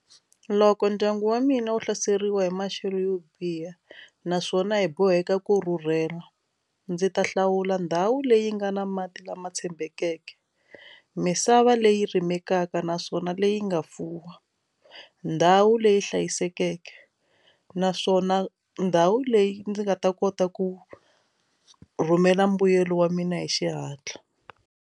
Loko ndyangu wa mina wu hlaseriwa hi maxelo yo biha naswona hi boheka ku rhurhela ndzi ta hlawula ndhawu leyi nga na mati lama tshembekeke misava leyi rimeke kaka naswona leyi nga fuwa ndhawu leyi hlayisekeke naswona ndhawu leyi ndzi nga ta kota ku rhumela mbuyelo wa mina hi xihatla.